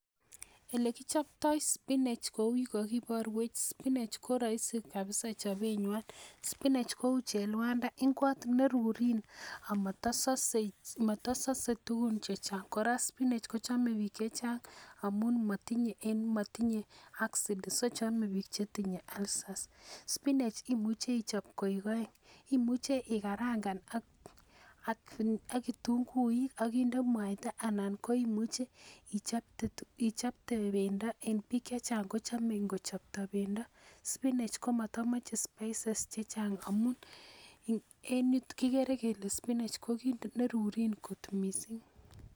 Ele kichopto spinach kou yuu kokiboruech spinach koroulisi kabisa chobenywan, spinach kou cheluanda ingwot nerurin amotososen motosose tukun chechang. Koraa spinach kochome bik chechang amun motinye en motinye acid so chome bik chetinye alcers spinach imuche ichobe konyil oeng imuche ikarangan ak kitunguik ak inde muaita ana ko imucheichopte pendo en bik chechang kochome ingochopto pendo. Spinach komotomoche spices chechang amun en yuton kokere kele spinach ko kit nerurin kot missing.